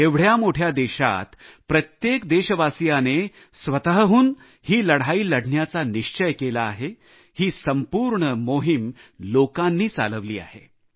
एवढ्या मोठ्या देशात प्रत्येक देशवासियाने स्वतःहून ही लढाई लढण्याचा निश्चय केला आहे ही संपूर्ण मोहीम लोकांनी चालविली आहे